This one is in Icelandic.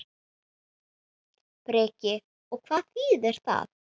Breki: Og hvað þýðir það?